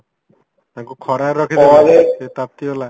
ତାଙ୍କୁ ଖରାରେ ସିଏ ତାତି ଗଲା